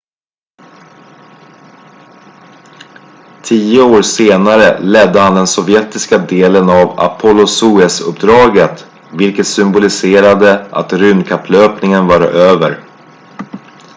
tio år senare ledde han den sovjetiska delen av apollo-soyuz-uppdaget vilket symboliserade att rymdkapplöpningen var över